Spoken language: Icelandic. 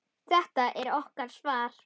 Þetta er okkar svar.